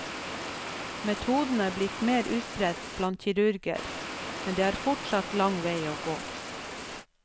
Metoden er blitt mer utbredt blant kirurger, men det er fortsatt lang vei å gå.